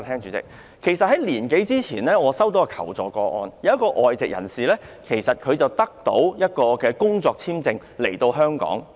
主席，在一年多前，我接獲一宗求助個案，一名外籍專業人士獲工作簽證來港。